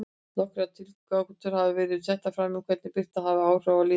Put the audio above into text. Nokkrar tilgátur hafa verið settar fram um hvernig birta hefur áhrif á líðan fólks.